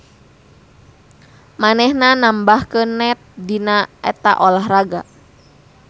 Manehna nambahkeun net dina eta olahraga.